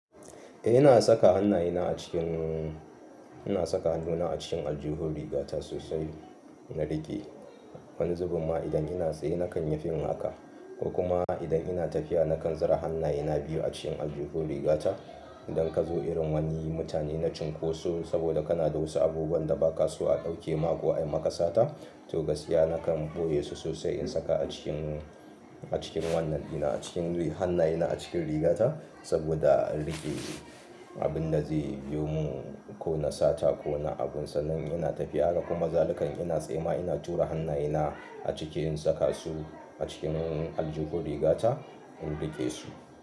Eh ina saka hannayena a cikin, ina saka hannuna a cikin aljuhun rigata sosai na riƙe. Wani zubin ma idan ina tsaye nakan yi fin haka. Ko kuma idan ina tafiya nakan zura hannayena biyu a cikin aljuhun rigata. Idan ka zo irin wani mutane na cunkoso saboda kana da wasu abubuwan da ba ka so a ɗauke ma ko a yi ma kasata, to gaskiya nakan ɓoye su sosai in saka a cikin, a cikin wannan, ina cikin hannayena a cikin rigata saboda a riƙe abin da zai biyo mu ko na sata ko na abun sannan ina tafiya. Haka kuma zalika in ina tsaye ma ina tura hannayena a cikin saka su a cikin aljuhu rigata in riƙe su.